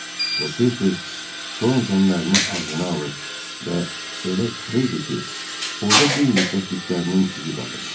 O tez-tez Torontonun əlini ağzına alır və elə sıxırdı ki, orada bir müddət dişlərinin izi qalırdı.